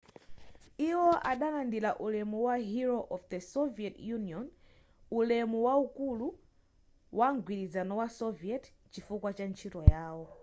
iwo adalandira ulemu wa hero of the soviet union' ulemu waukulu wa mgwirizano wa soviet chifukwa cha ntchito yawo